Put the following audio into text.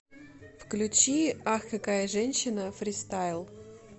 включи ах какая женщина фристайл